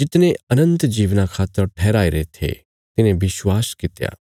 जितने अनन्त जीवना खातर ठहराईरे थे तिन्हें विश्वास कित्या